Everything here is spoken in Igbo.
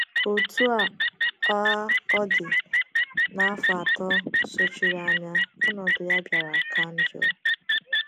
Otú um ọ dị, n’afọ atọ sochiri anya ọnọdụ ya bịara ka njọ.